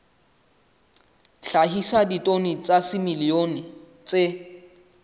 hlahisa ditone tsa dimilione tse